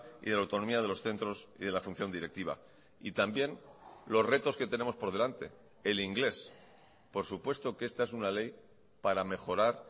y de la autonomía de los centros y de la función directiva y también los retos que tenemos por delante el inglés por supuesto que esta es una ley para mejorar